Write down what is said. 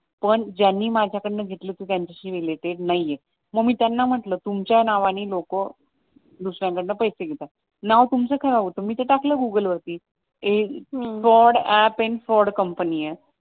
पण ज्यांनी माझाकडून घेतली होती त्यांच्याशी रिलेटेड नाहीये मग मी त्यांना म्हंटल तुमच्या नावाने लोक दुसऱ्यांकडन पैसे घेतात नाव तुमचं खराब होत मी ते टाकलं गुगलवरती ह फ्रॉड अप आणि फ्रॉड कंपनी असं